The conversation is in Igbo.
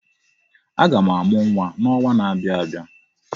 Aga m amụ nwa n'ọnwa na-abịa abịa.